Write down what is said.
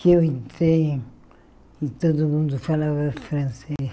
Que eu entrei e todo mundo falava francês.